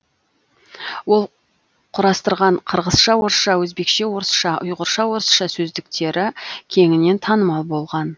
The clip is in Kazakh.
ол құрастырған қырғызша орысша өзбекше орысша ұйғырша орысша сөздіктері кеңінен танымал болған